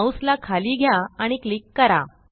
mouse ला खाली घ्या आणि क्लिक करा